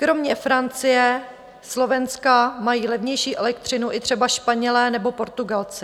Kromě Francie, Slovenska mají levnější elektřinu i třeba Španělé nebo Portugalci.